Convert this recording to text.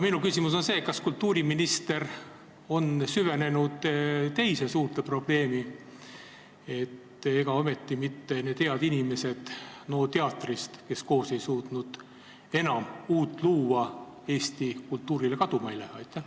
Kas kultuuriminister on süvenenud teise suurde probleemi: ega ometi mitte need head inimesed NO teatrist, kes koos ei suutnud enam uut luua, eesti kultuurile kaduma ei lähe?